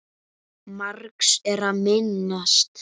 Margs er að minnast